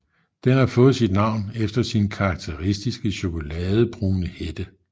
Den har fået sit navn efter sin karakteristiske chokoladebrune hætte